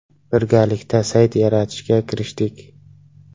Birgalikda sayt yaratishga kirishdik.